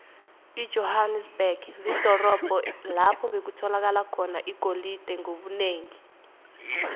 ijohanesberg lidorobho lapho bekutholakala khona igolide ngobunengi